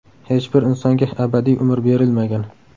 Hech bir insonga abadiy umr berilmagan.